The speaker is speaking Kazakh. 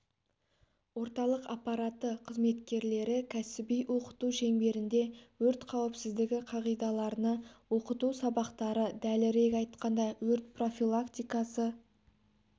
орталық аппараты қызметкерлері кәсіби оқыту шеңберінде өрт қауіпсіздігі қағидаларына оқыту сабақтары дәлірек айтқанда өрт профилактикасы